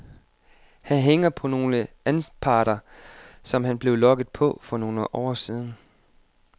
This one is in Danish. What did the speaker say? Han hænger på nogle anparter, som han blev lokket på for nogle år siden.